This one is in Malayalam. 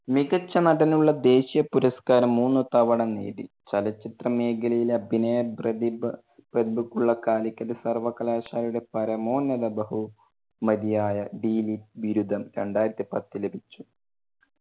മികച്ച നടനുള്ള ദേശിയ പുരസ്‌കാരം മൂന്നു തവണ നേടി. ചലച്ചിത്ര മേഖലയിലെ അഭിനയ പ്രതിഭ~ പ്രതിഭക്കുള്ള കാലിക്കറ്റ് സർവകലാശാലയുടെ പരമോന്നത ബഹു മതി ആയ രണ്ടായിരത്തി പത്തിൽ ലഭിച്ചു.